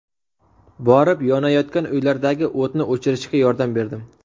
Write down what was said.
Borib, yonayotgan uylardagi o‘tni o‘chirishga yordam berdim.